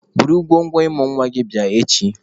Buru ngwongwo ịmụ nwa gị bịa echi!